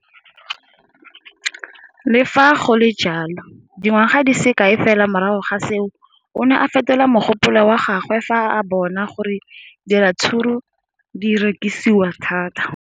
Le fa go le jalo, dingwaga di se kae fela morago ga seno, o ne a fetola mogopolo wa gagwe fa a bona gore diratsuru di rekisiwa thata.